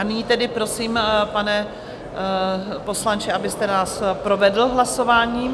A nyní tedy prosím, pane poslanče, abyste nás provedl hlasováním.